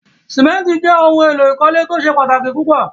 Símẹ̀ntì jẹ ohun èlò ìkọ́lé tí o ṣẹ̀ pátaki púpọ̀.